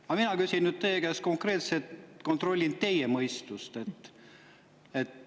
Aga mina küsin nüüd teie käest konkreetselt, kontrollin teie mõistust.